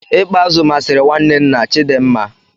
I kpa azu masịrị nwanne nna Chidinma.